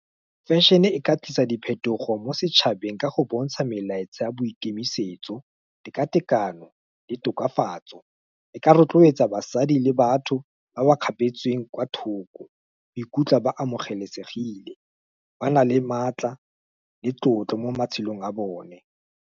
fashion-e ka tlisa diphetogo mo setšhabeng ka go bontsha melaetsa a boikemisetso, teka tekano, le tokafatso, e ka rotloetsa basadi le batho ba ba kgapetsweng kwa thoko, ba ikutlwe ba amogelesegile, ba na le maatla, le tlotlo, mo matshelong a bone.